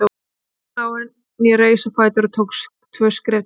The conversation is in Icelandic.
Hann steinlá en ég reis á fætur og tók tvö skref til hans.